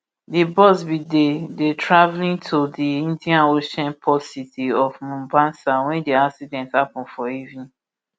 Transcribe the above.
di bus bin dey dey travelling to di indian ocean port city of mombasa wen di accident happun for evening